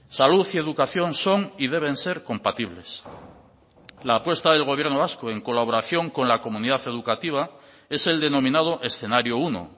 salud y educación son y deben ser compatibles la apuesta del gobierno vasco en colaboración con la comunidad educativa es el denominado escenario uno